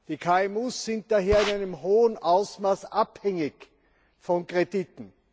Die KMUs sind daher in einem hohen Ausmaß abhängig von Krediten.